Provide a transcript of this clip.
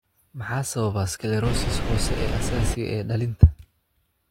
Maxaa sababa sclerosis hoose ee aasaasiga ah ee dhallinta?